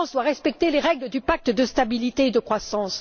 La France doit respecter les règles du pacte de stabilité et de croissance.